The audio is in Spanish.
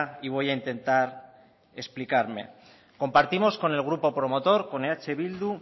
y voy a intentar explicarme compartimos con el grupo promotor con eh bildu